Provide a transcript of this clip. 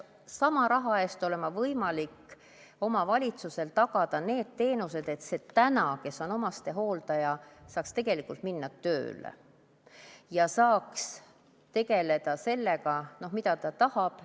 Sama raha eest peaks olema võimalik omavalitsusel tagada need teenused, et see, kes on täna omastehooldaja, saaks tegelikult minna tööle ja saaks tegeleda sellega, millega ta tahab.